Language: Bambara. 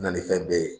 Na ni fɛn bɛɛ ye